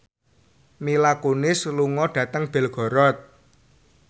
Mila Kunis lunga dhateng Belgorod